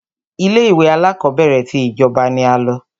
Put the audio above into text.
Ilé ìwé alákọ̀berẹ̀ tí ìjọba ní a lọ.